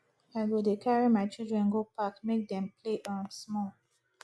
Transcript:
i go dey carry my children go park make dem play um small